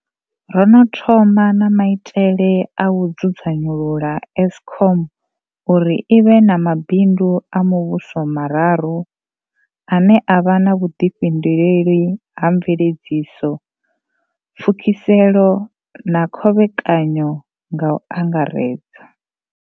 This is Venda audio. Ro no thoma na maitele a u dzudzanyulula eskom uri i vhe na mabindu a muvhuso mararu, ane a vha na vhuḓifhinduleli ha mveledziso, pfukiselo na khovhekanyo, nga u angaredza.